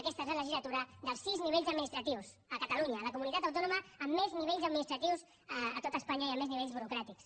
aquesta és la legislatura dels sis nivells administratius a catalunya a la comunitat autònoma amb més nivells administratius a tot espanya i amb més nivells burocràtics